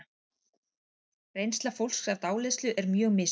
Reynsla fólks af dáleiðslu er mjög misjöfn.